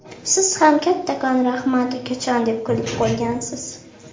Siz ham ‘Kattakon rahmat, ukajon’ deb kulib qo‘ygansiz.